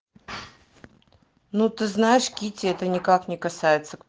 ну ты знаешь китти это никак не касается